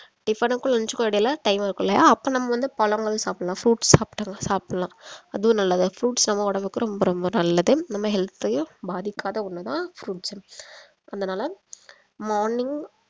tiffin க்கும் lunch க்கும் இடையில time இருக்கும் இல்லையா அப்ப நம்ம வந்து பழங்கள் சாப்பிடலாம் fruits சாப்பிட்டு சாப்பிடலாம் அதுவும் நல்லது தான் fruits நம்ம உடம்புக்கு ரொம்ப ரொம்ப நல்லது நம்ம health யும் பாதிக்காத ஒண்ணு தான் fruits அதனால morning